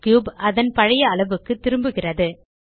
cube அதன் பழைய அளவுக்கு திரும்புகிறது